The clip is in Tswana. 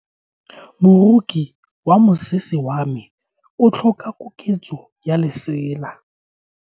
Moroki wa mosese wa me o tlhoka koketso ya lesela.